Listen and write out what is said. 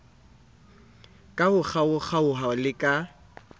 ka ho kgaokgaoha le ka